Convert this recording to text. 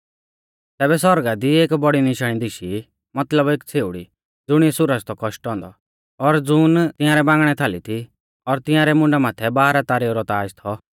तैबै आसमाना दी एक बौड़ी निशाणी दिशी मतलब एक छ़ेउड़ी ज़ुणिऐ सुरज थौ कौशटौ औन्दौ और ज़ून तियांरै बांगणै थालै थी और तियांरै मुंडा माथै बाराह तारेऊ रौ ताज़ थौ